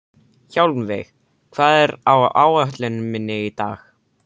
Hjálmveig, hvað er á áætluninni minni í dag?